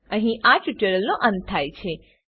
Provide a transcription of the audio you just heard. અહીં આ ટ્યુટોરીયલનો અંત થાય છે